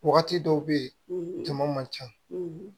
Wagati dɔw be yen jama man ca